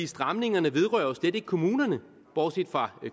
stramningerne vedrører jo slet ikke kommunerne bortset fra